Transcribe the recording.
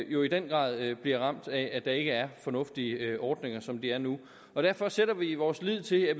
jo i den grad bliver ramt af at der ikke er fornuftige ordninger som det er nu og derfor sætter vi vores lid til at